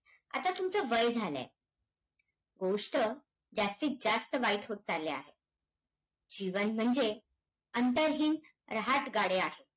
आणि ते शिवसेनाप्रमुख बाळासाहेब ठाकरे यांचा प्रेरणेन नितीन गडकरी यांनी जिद्दीने पुन्हा~